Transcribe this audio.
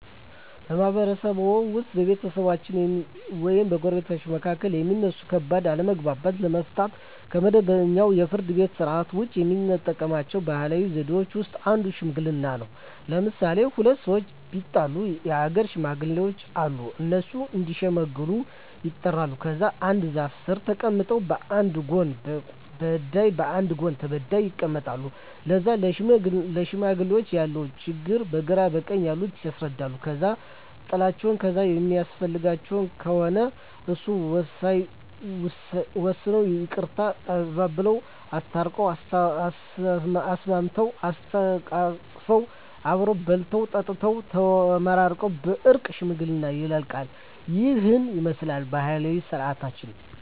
በማህበረሰብዎ ውስጥ በቤተሰቦች ወይም በጎረቤቶች መካከል የሚነሱ ከባድ አለመግባባቶችን ለመፍታት (ከመደበኛው የፍርድ ቤት ሥርዓት ውጪ) የሚጠቀሙባቸው ባህላዊ ዘዴዎች ውስጥ አንዱ ሽምግልና ነው። ለምሣሌ፦ ሁለት ሠዎች ቢጣሉ የአገር ሽማግሌዎች አሉ። እነሱ እዲሸመግሉ ይጠሩና ከዛ አንድ ዛፍ ስር ተቀምጠው በአንድ ጎን በዳይ በአንድ ጎን ተበዳይ ይቀመጣሉ። ከዛ ለሽማግሌዎች ያለውን ችግር በግራ በቀኝ ያሉት ያስረዳሉ። ከዛ ጥላቸው ካሣ የሚያስፈልገው ከሆነ እሱን ወስነው ይቅርታ አባብለው። አስታርቀው፤ አሳስመው፤ አሰተቃቅፈው አብረው በልተው ጠጥተው ተመራርቀው በእርቅ ሽምግልናው ያልቃ። ይህንን ይመስላል ባህላዊ ስርዓታችን።